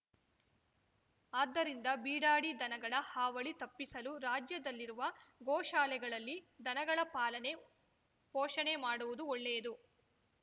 ಅದ್ದರಿಂದ ಬಿಡಾಡಿ ದನಗಳ ಹಾವಳಿ ತಪ್ಪಿಸಲು ರಾಜ್ಯದಲ್ಲಿರುವ ಗೋಶಾಲೆಗಳಲ್ಲಿ ದನಗಳ ಪಾಲನೆ ಪೋಷಣೆ ಮಾಡುವುದು ಒಳ್ಳೆಯದು